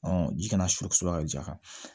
ji kana surunya ka ja kan